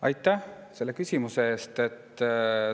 Aitäh selle küsimuse eest!